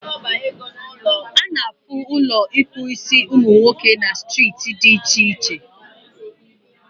Ana afụ Ụlọ ịkpụ isiumunwoke na striiti dị iche iche